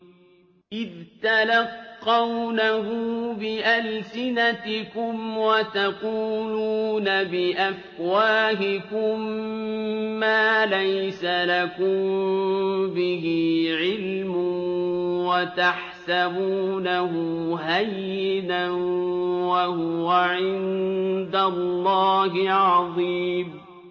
إِذْ تَلَقَّوْنَهُ بِأَلْسِنَتِكُمْ وَتَقُولُونَ بِأَفْوَاهِكُم مَّا لَيْسَ لَكُم بِهِ عِلْمٌ وَتَحْسَبُونَهُ هَيِّنًا وَهُوَ عِندَ اللَّهِ عَظِيمٌ